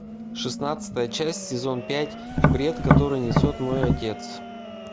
шестнадцатая часть сезон пять бред который несет мой отец